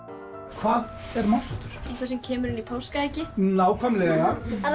hvað er málsháttur eitthvað sem kemur inn úr páskaeggi nákvæmlega það